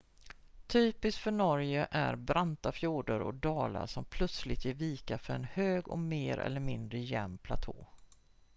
typiskt för norge är branta fjorder och dalar som plötsligt ger vika för en hög mer eller mindre jämn platå